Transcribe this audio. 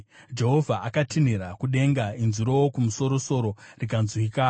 Jehovha akatinhira kudenga; inzwi roWokumusoro-soro rikanzwika.